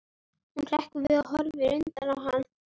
Hún hrekkur við og horfir undrandi á hann.